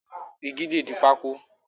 Igi le di pákó.